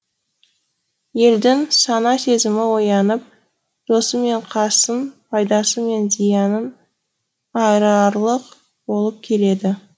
елдің сана сезімі оянып досы мен қасын пайдасы мен зиянын айырарлық болып келеді